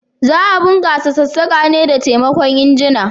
Za a bunkasa sassaka ne da taimakon injina.